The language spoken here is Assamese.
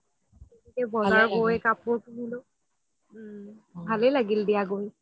বজাৰ গৈ কাপোৰ কিনিলো ভালে লাগিল দিয়া গৈ